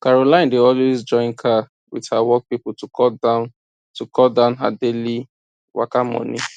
caroline dey always join car with her work people to cut down to cut down her daily waka money